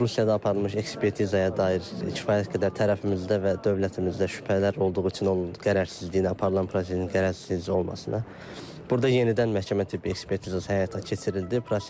Rusiyada aparılmış ekspertizaya dair kifayət qədər tərəfimizdə və dövlətimizdə şübhələr olduğu üçün o qərərsizliklə aparılan prosesin qərərsiz necə olmasına burda yenidən məhkəmə tibb ekspertizası həyata keçirildi.